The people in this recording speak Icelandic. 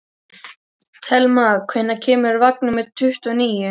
Telma, hvenær kemur vagn númer tuttugu og níu?